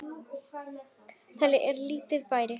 Þetta er lítill bær.